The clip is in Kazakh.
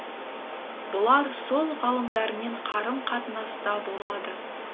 бұлар сол ғалымдармен қарым қатынаста болады